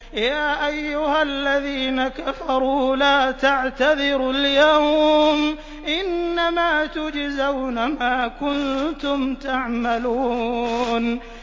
يَا أَيُّهَا الَّذِينَ كَفَرُوا لَا تَعْتَذِرُوا الْيَوْمَ ۖ إِنَّمَا تُجْزَوْنَ مَا كُنتُمْ تَعْمَلُونَ